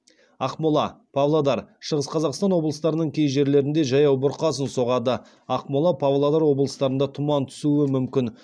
ақмола павлодар шығыс қазақстан облыстарының кей жерлерінде жаяу бұрқасын соғады ақмола павлодар облыстарында тұман түсуі мүмкін